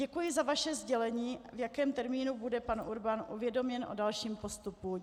Děkuji za vaše sdělení, v jakém termínu bude pan Urban uvědoměn o dalším postupu.